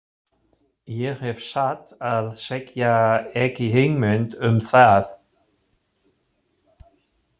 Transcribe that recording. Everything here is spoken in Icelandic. Ég hef satt að segja ekki hugmynd um það.